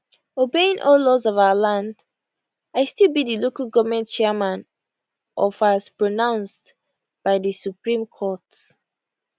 obeying all laws of our land i still be di local goment chairman of as pronounced by di supreme court